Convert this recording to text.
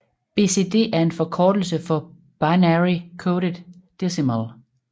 BCD er en forkortelse for binary coded decimal